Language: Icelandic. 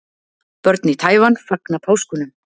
Börn í Taívan fagna páskunum.